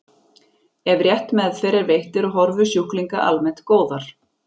Ef rétt meðferð er veitt eru horfur sjúklinga almennt góðar.